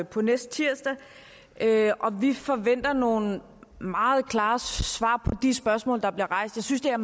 på næste tirsdag vi forventer nogle meget klare svar på de spørgsmål der bliver rejst jeg synes det er